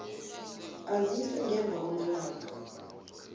aziswe ngemva kwamalanga